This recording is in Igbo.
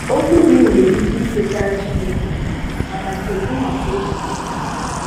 Okwù gị nwere ike ị̀kwètàrà Chínèké, mana kedụ maka obi gị?